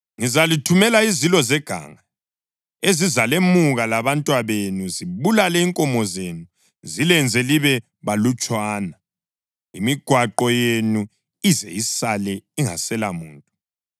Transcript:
Ngizalithumela izilo zeganga, ezizalemuka abantwabenu, zibulale inkomo zenu, zilenze libe balutshwana, imigwaqo yenu ize isale ingaselamuntu.